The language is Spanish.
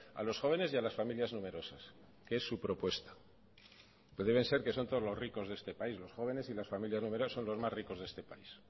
a los jóvenes y a las familias numerosas que es su propuesta pero deben ser que son todos los ricos de este país los jóvenes y las familias numerosas los más ricos de este país